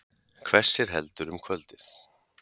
Hvessir heldur um kvöldið